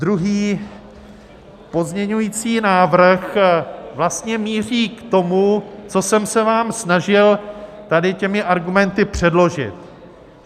Druhý pozměňovací návrh vlastně míří k tomu, co jsem se vám snažil tady těmi argumenty předložit.